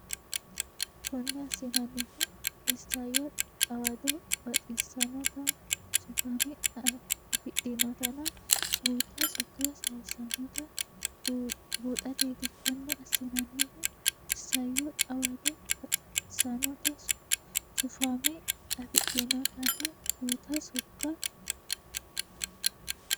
Konne assinannihuno isayyo xawado baxissannota sufamme afidhinotanna guuta sokka sayissannota buuxateeti Konne assinannihuno isayyo xawado baxissannota sufamme afidhinotanna guuta sokka.